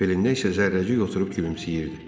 Belindən isə zərrəcik oturub gülümsəyirdi.